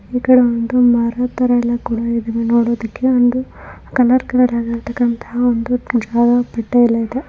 ಈಕಡೆ ಒಂದು ಮರತರ ಎಲ್ಲ ಕೂಡ ಇದವೆ ನೋಡೋದಿಕ್ಕೆ ಒಂದು ಕಲರ್ ಕಲರ್ ಅಗಿರತಕಂತ ಒಂದು ಮುಜವ ಬಟ್ಟೆ ಎಲ್ಲ ಇದೆ.